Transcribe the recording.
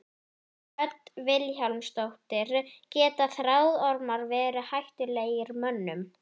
Hödd Vilhjálmsdóttir: Geta þráðormar verið hættulegir mönnum?